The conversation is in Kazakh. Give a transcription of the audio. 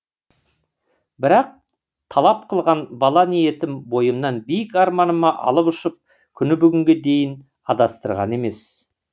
бірақ талап қылған бала ниетім бойымнан биік арманыма алып ұшып күні бүгінге дейін адастырған емес